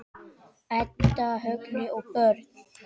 Edda, Högni og börn.